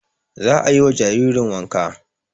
Za ayi wa jaririn wanka